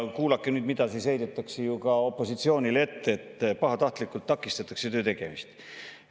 Kuulake seda, sest heidetakse ju ka opositsioonile ette, et pahatahtlikult takistatakse töö tegemist.